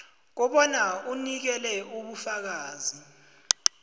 kobana unikele ubufakazi